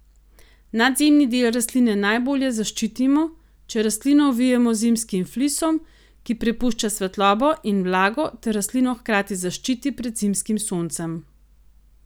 Nadzemni del rastline najbolje zaščitimo, če rastlino ovijemo z zimskim flisom, ki prepušča svetlobo in vlago ter rastlino hkrati zaščiti pred zimskim soncem.